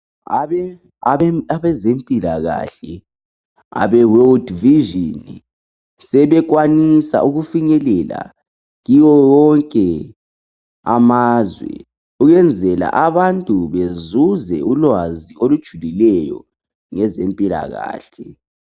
Abezempilakahle abe world vision sebekwanisa ukufinyelela kiwo wonke amazwe ukwenzela abantu bezuze ulwazi olujulileyo ngeze mpilakahle.